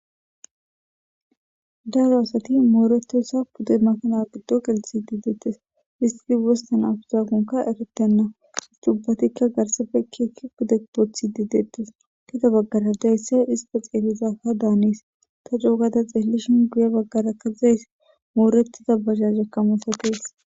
daro asati mooretessa gude makanaqiddo gelthi dideettes histi wosta naf zagonka eretenna hisdubbatikka garsafekkiekki gude poothi dideettes keda baggara dayssa hista xeelizafa daanis ta joogada xeellishin guye baggarakkazayss moorettiza bazajekka masatees.